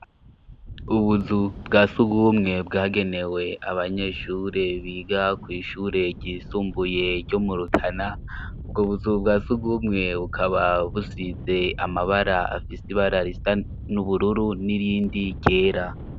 Ubuzu bwa sugumwe bwagenewe abanyeshure biga kw'ishure ryisumbuye ryo mu Rutana. Ubwo buzu bwa sugumwe bukaba busize amabara afise ibara risa n'ubururu n'irindi ryera.